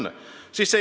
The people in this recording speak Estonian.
Ma kordan üle.